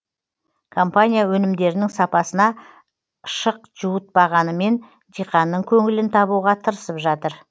компания өнімдерінің сапасына шық жуытпағанымен диқанның көңілін табуға тырысып жатыр